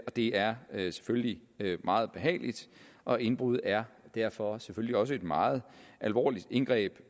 det er selvfølgelig meget ubehageligt og indbrud er derfor selvfølgelig også et meget alvorligt indgreb